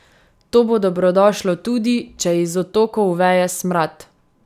To bo dobrodošlo tudi, če iz odtokov veje smrad.